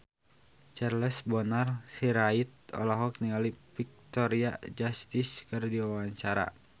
Charles Bonar Sirait olohok ningali Victoria Justice keur diwawancara